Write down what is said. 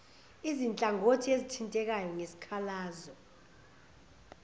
izinhlangothi ezithintekayo ngesikhalazo